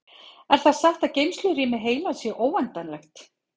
Er það satt að geymslurými heilans sé óendanlegt?